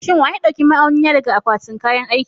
Shin wa ya ɗauki ma'auni na daga akwatin kayan aiki?